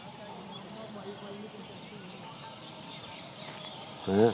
ਉਹ